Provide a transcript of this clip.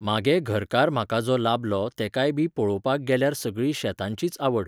म्हागे घरकार म्हाका जो लाबलो तेकाय बी पळोवपाक गेल्यार सगळी शेतांचीच आवड